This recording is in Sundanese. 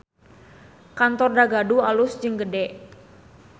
Kantor Dagadu alus jeung gede